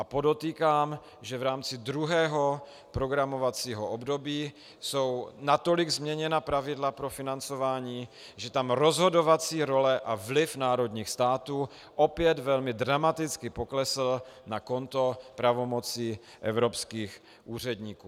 A podotýkám, že v rámci druhého programovacího období jsou natolik změněna pravidla pro financování, že tam rozhodovací role a vliv národních států opět velmi dramaticky poklesly na konto pravomocí evropských úředníků.